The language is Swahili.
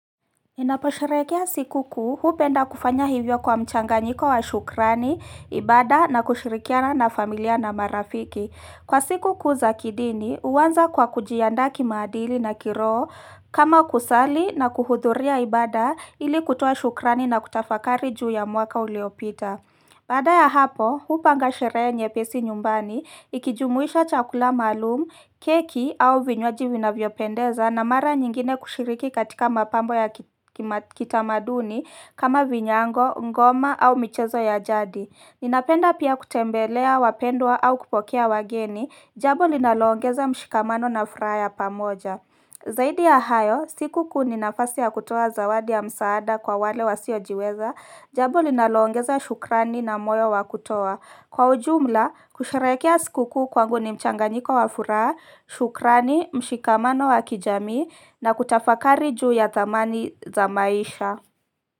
Ninaposherehekea siku kuu upenda kufanya hivyo kwa mchanga nyiko wa shukrani, ibada na kushirikiana na familia na marafiki. Kwa siku kuu za kidini, uwanza kwa kujiaandaa ki maadili na kiroho kama kusali na kuhudhuria ibada ili kutoa shukrani na kutafakari juu ya mwaka uliopita. Baada ya hapo, hupa ngasherehe nye pesi nyumbani, ikijumuisha chakula maalum, keki au vinywaji vina vyopendeza na mara nyingine kushiriki katika mapambo ya kitamaduni kama vinyango, ngoma au michezo ya jadi. Ninapenda pia kutembelea, wapendwa au kupokea wageni, jabo linalongeza mshikamano na furaha ya pamoja. Zaidi ya hayo, siku kuu ni nafasi ya kutoa zawadi ya msaada kwa wale wasiojiweza, jambo linaloongeza shukrani na moyo wa kutoa. Kwa ujumla, kusherehekea siku kuu kwangu ni mchanganyiko wa furaha, shukrani, mshikamano wa kijamii na kutafakari juu ya thamani za maisha.